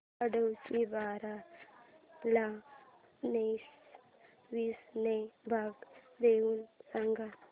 आठशे बारा ला नऊशे वीस ने भाग देऊन सांग